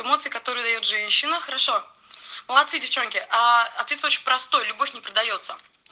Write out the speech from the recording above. эмоции которые даёт женщина хорошо молодцы девчонки аа ответ очень простой любовь не продаётся